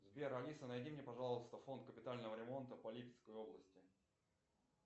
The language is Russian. сбер алиса найди мне пожалуйста фонд капитального ремонта по липецкой области